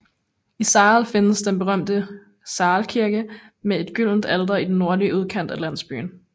I Sahl findes den berømte Sahl Kirke med et gyldent alter i den nordlige udkant af landsbyen